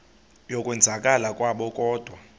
yokwenzakala kwabo kodwa